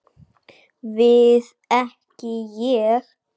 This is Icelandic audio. Við ekki Ég.